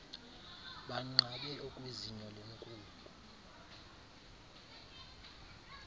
banqabe okwezinyo lenkuku